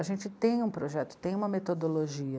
A gente tem um projeto, tem uma metodologia,